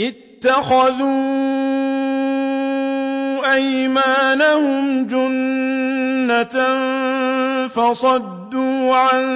اتَّخَذُوا أَيْمَانَهُمْ جُنَّةً فَصَدُّوا عَن